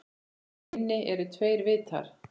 Á eynni eru tveir vitar.